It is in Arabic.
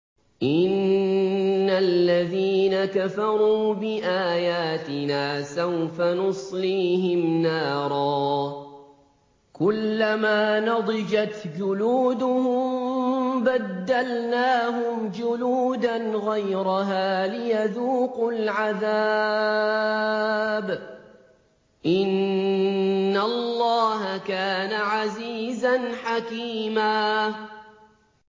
إِنَّ الَّذِينَ كَفَرُوا بِآيَاتِنَا سَوْفَ نُصْلِيهِمْ نَارًا كُلَّمَا نَضِجَتْ جُلُودُهُم بَدَّلْنَاهُمْ جُلُودًا غَيْرَهَا لِيَذُوقُوا الْعَذَابَ ۗ إِنَّ اللَّهَ كَانَ عَزِيزًا حَكِيمًا